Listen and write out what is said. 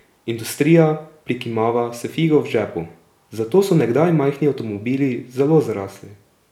Industrija prikimava s figo v žepu, zato so nekdaj majhni avtomobili zelo zrasli.